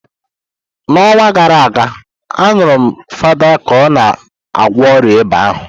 N'ọnwa gara aga, añurum Fansidar ka ọ gwọọ ọrịa ịba ahụ.